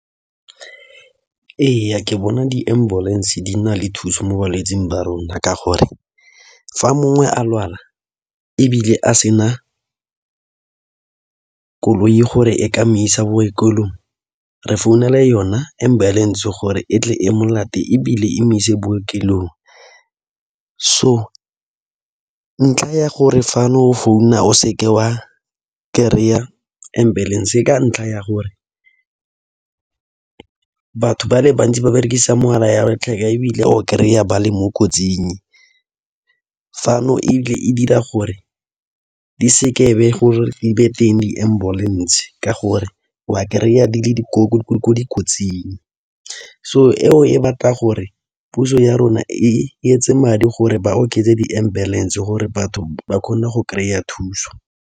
Ee, ke bona di-ambulance di na le thuso mo balwetsing ba rona ka gore fa mongwe a lwala ebile a sena koloi gore e mo isa bookelong re founela yona ambulance gore e tle e mo ebile emise bookelong so ntlha ya gore fane o founa o seke wa kry-a ambulance e ka ntlha ya gore batho ba le bantsi ba berekisa mogala ya latlhege ebile o kry-a ba le mo kotsing fano ebile e dira gore di seke be gore le be teng di-ambulance ke gore wa kry-a di le mo dikotsing so eo e batla gore puso ya rona e etse madi gore ba oketse di-ambulance gore batho ba kgone go kry-a thuso.